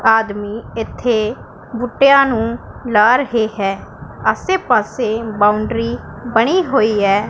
ਆਦਮੀ ਇੱਥੇ ਬੂਟਿਆਂ ਨੂੰ ਲਾ ਰਹੇ ਹੈ ਆਸੇ ਪਾਸੇ ਬਾਉਂਡਰੀ ਬਣੀ ਹੋਈ ਐ।